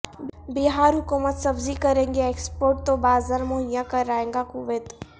بہار حکومت سبزی کرے گی ایکسپورٹ تو بازار مہیا کرائے گا کویت